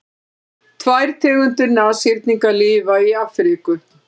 tvær tegundir nashyrninga lifa í afríku